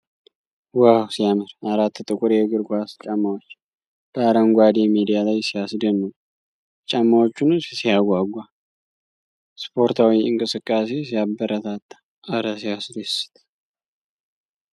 ዋው ሲያምር ! አራት ጥቁር የእግር ኳስ ጫማዎች በአረንጓዴ ሜዳ ላይ ሲያስደንቁ ! የጫማዎቹ ንድፍ ሲያጓጓ ! ስፖርታዊ እንቅስቃሴ ሲያበረታታ ! እረ ሲያስደስት!